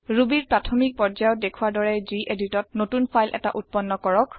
Rubyৰ প্ৰাথমিক পৰ্যায়ত দেখুৱা দৰে geditত নতুন ফাইল এটা উত্পন্ন কৰক